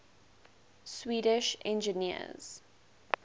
swedish engineers